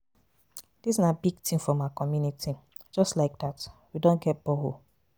Dis na big thing for my community. Just like dat we Don get borehole.